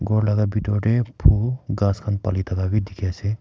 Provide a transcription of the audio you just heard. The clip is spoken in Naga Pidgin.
ghor laka bitor tae phul ghas khan palithaka bi dikhiase.